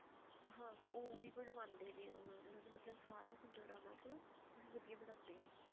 ਹਾਂ ਹਾਂ ਉਹੀ ਬਣਵਾਉਂਦੇ ਨੇ ਉਹ ਉਹਨਾ ਨੂੰ ਮਤਲਬ ਸਾਰਾ ਹੁੰਦਾ ਉਹਨਾ ਕੋਲ ਉਹ ਵਧੀਆ ਬਣਾਉਂਦੇ ਨੇ ਉਹ